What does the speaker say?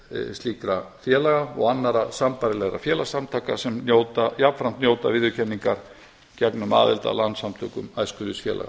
slíkra félaga og annarra sambærilegra félagssamtaka sem jafnframt njóta viðurkenningar gegnum aðild að samtökum æskulýðsfélaga